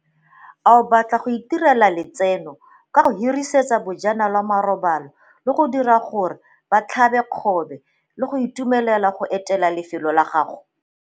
Ao batla go itirela letseno ka go hirisetsa bajanala marobalo le go dira gore ba tlhabe kgobe le go itumelela go etela lefelo la gago?